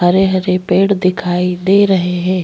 हरे - हरे पेड़ दिखाई दे रहे है।